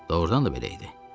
Doğrudan da belə idi.